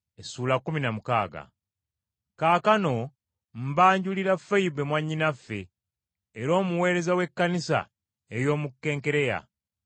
Kaakano mbanjulira Foyibe mwannyinaffe, era omuweereza w’ekkanisa ey’omu Kenkereya.